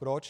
Proč?